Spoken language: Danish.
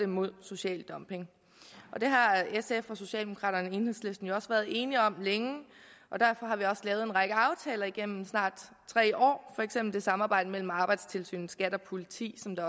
mod social dumping det har sf socialdemokraterne og enhedslisten jo også længe været enige om og derfor har vi også lavet en række aftaler igennem snart tre år for eksempel om samarbejdet mellem arbejdstilsynet skat og politiet som der